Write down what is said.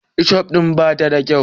Ketciuf din ba ta da kyau.